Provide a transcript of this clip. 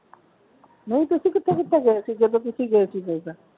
ਨਹੀਂ ਤੁਸੀਂ ਕਿਥੇ ਕਿਥੇ ਗਏ ਸੀ ਜਦੋਂ ਤੁਸੀਂ ਗਏ ਸੀ।